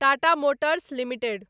Tata Motors limited